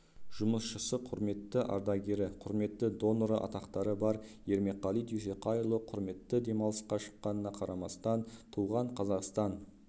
жұмысшысы құрметті ардагері құрметті доноры атақтары бар ермекқали дүйсеқайұлы құрметті демалысқа шыққанына қарамастан туған қазақстан